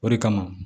O de kama